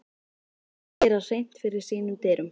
Hann vildi gera hreint fyrir sínum dyrum.